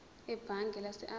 ebhange lase absa